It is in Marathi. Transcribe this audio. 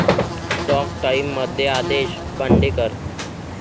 टॉक टाइम'मध्ये आदेश बांदेकर